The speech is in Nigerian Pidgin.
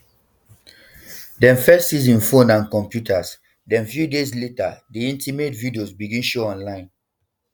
dem first seize im phones and computers den few days later di intimate videos begin show online